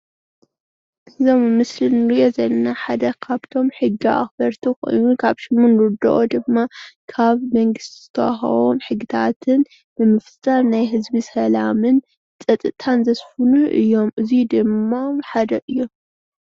እዚ ኣብ ምስሊ እንሪኦ ዘለና ሓደ ካብቶም ሕጊ ኣክበርቲ ኮይኑ ከምቲ እንርድኦ ድማ ካብ መንግስቲ ዝተወሃቦም ሕግታት ብምፍፃም ናይ ህዝቢ ሰላምን ፀጥታን ዘስፍኑ እዮም እዚ ድማ ሓደ እዩ፡፡